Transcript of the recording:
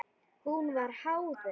Hún var háð þeim.